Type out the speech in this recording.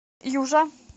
южа